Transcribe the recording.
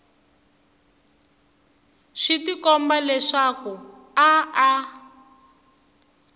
swi tikomba leswaku a a